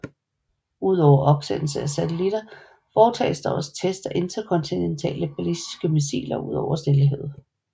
Udover opsendelse af satellitter foretages der også test af interkontinentale ballistiske missiler ud over Stillehavet